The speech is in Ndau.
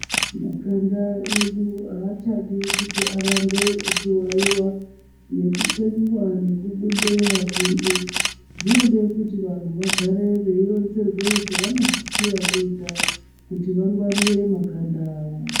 Makanda edu achadi kutoramba eichi wawiwa nekukweniwa nekubude mapundu zvinode kuti vantu vagare vechironzerwe zvavanosisira kuita kuti vangwarire makanda avo.